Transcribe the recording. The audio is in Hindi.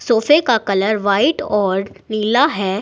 सोफे का कलर व्हाइट और पीला है।